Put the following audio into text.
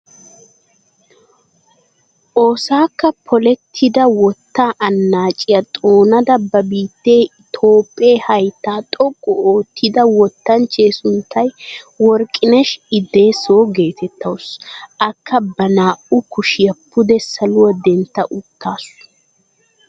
Oosakka poolettida wottaa annaciyaa xoonada ba biittee itoophphee hayttaa xooqqu ottida wottanchchee sunttay worqinesh idessoo getettawus. akka ba naa"u kushiyaa pude saluwaa dentta uttaasu.